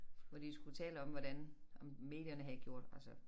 Hvor de skulle tale om hvordan om medierne havde gjort altså